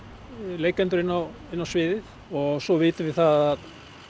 leikendur inn á inn á sviðið og svo vitum við það að